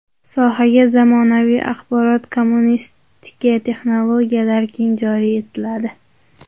Sohaga zamonaviy axborot-kommunikatsiya texnologiyalari keng joriy etiladi.